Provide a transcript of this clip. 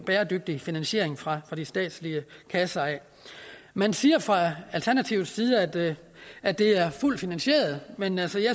bæredygtig finansiering fra de statslige kasser man siger fra alternativets side at det at det er fuldt finansieret men jeg